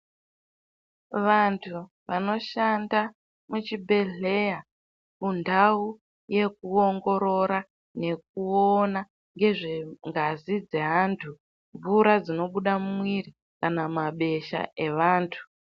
Vantu vanoshanda mu chibhedhleya mundau yeku ongorora nekuona ngezve ngazi dze antu mvura dzinobuda mu mwiri kana ma besha evantu.